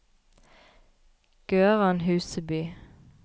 Gøran Huseby